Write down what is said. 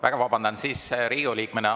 Väga vabandan, siis Riigikogu liikmena.